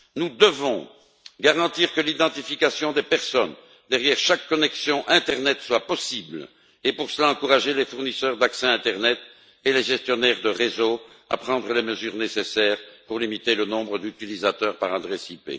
Nous devons garantir que l'identification des personnes derrière chaque connexion internet soit possible et, pour cela, encourager les fournisseurs d'accès internet et les gestionnaires de réseau à prendre les mesures nécessaires pour limiter le nombre d'utilisateurs par adresse IP.